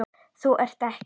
Þú ert ekki.